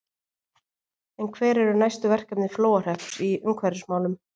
En hver eru næstu verkefni Flóahrepps í umhverfismálum?